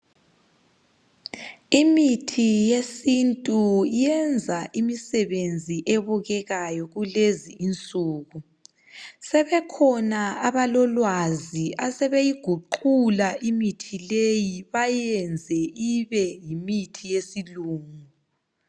Imithi yesintu iyenza imisebenzi ebukekayo kulezi insuku , sebekhona abalolwazi asebeyiguqula imithi leyi bayenze ibe yimithi yesilungu